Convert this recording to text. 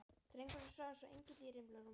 Drengurinn svaf eins og engill í rimlarúminu.